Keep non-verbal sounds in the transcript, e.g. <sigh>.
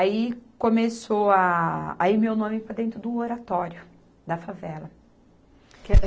Aí começou a... A ir meu nome para dentro do oratório da favela. <unintelligible>